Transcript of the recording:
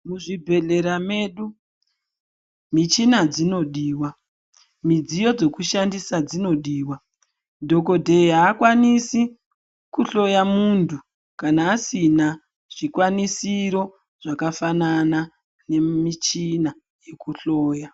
Muzvibhedhlera medu, michina dzinodiwa, midziyo dzekushandisa dzinodiwa. Dhokodheya akwanisi kuhloya muntu kana asina zvikwanisiro zvakafanana nemichina yekuhloya.